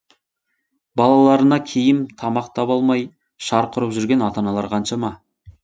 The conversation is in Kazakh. балаларына киім тамақ таба алмай шарқ ұрып жүрген ата аналар қаншама